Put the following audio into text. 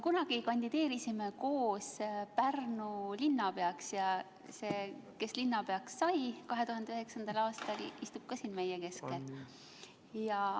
Kunagi kandideerisime koos Pärnu linnapeaks ja see, kes linnapeaks sai 2009. aastal, istub ka siin meie keskel.